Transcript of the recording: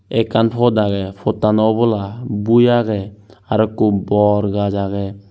ekkan pot agey pottano obola bui agey arw ikko bor gaj agey.